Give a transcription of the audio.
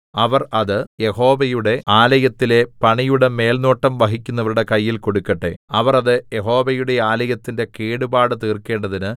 അവർ അത് യഹോവയുടെ ആലയത്തിലെ പണിയുടെ മേൽനോട്ടം വഹിക്കുന്നവരുടെ കയ്യിൽ കൊടുക്കട്ടെ അവർ അത് യഹോവയുടെ ആലയത്തിന്റെ കേടുപാട് തീർക്കേണ്ടതിന്